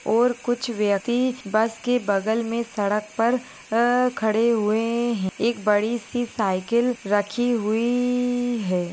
ओर कुछ व्यक्ति बस के बगल मे सड़क पर अ खड़े हुए हैं एक बड़ी सी साइकल रखी हुई है।